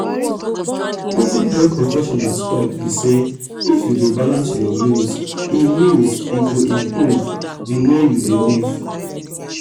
wetin health professionals talk be say if you dey balance your meals e meals e go improve di way you dey live.